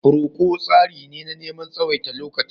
Roko tsari ne na neman tsawaita lokaci.